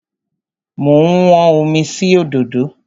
Mo ń wọ́n omi sí òdòdó.